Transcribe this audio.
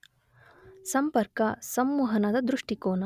ಸಂಪರ್ಕ, ಸಂವಹನದ ದೃಷ್ಟಿಕೋನ